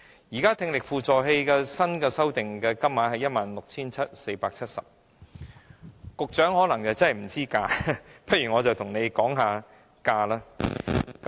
現時聽力輔助器的新修訂金額為 16,470 元，局長可能不知價格，不如我便跟局長說說價格。